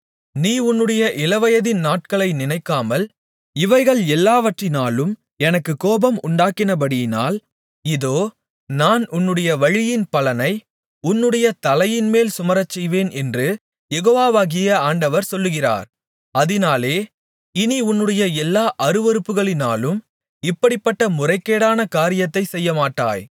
நீ உன்னுடைய இளவயதின் நாட்களை நினைக்காமல் இவைகள் எல்லாவற்றினாலும் எனக்குக் கோபம் உண்டாக்கினபடியினால் இதோ நான் உன்னுடைய வழியின் பலனை உன்னுடைய தலையின்மேல் சுமரச்செய்வேன் என்று யெகோவாகிய ஆண்டவர் சொல்லுகிறார் அதினாலே இனி உன்னுடைய எல்லா அருவருப்புகளினாலும் இப்படிப்பட்ட முறைகேடான காரியத்தைச் செய்யமாட்டாய்